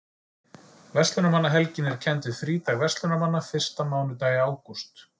Verslunarmannahelgin er kennd við frídag verslunarmanna fyrsta mánudag í ágúst.